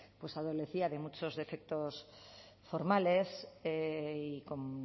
pues adolecía de muchos defectos formales y con